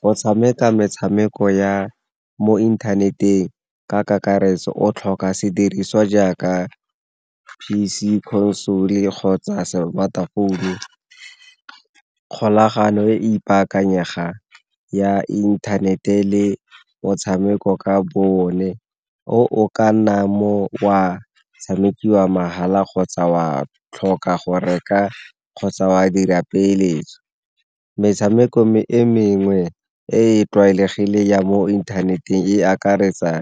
Go tshameka metshameko ya mo inthaneteng ka kakaretso o tlhoka sediriswa jaaka P_C console kgotsa smartphone-u. Kgolagano e e ipaakanyegang ya inthanete le motshameko ka bo one, o o ka nna wa tshamekiwa mahala kgotsa wa tlhoka go reka kgotsa wa dira peeletso. Metshameko e mengwe e e tlwaelegileng ya mo inthaneteng e akaretsa